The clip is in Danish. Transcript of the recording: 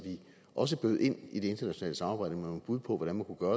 også bød ind i det internationale samarbejde med nogle bud på hvordan man kunne gøre